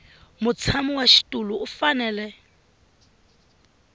mutshami wa xitulu u fanele